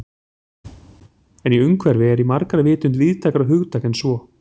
En umhverfi er í margra vitund víðtækara hugtak en svo.